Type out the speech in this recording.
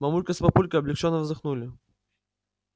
мамулька с папулькой облегчённо вздохнули